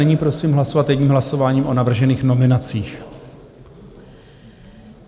Nyní prosím hlasovat jedním hlasováním o navržených nominacích.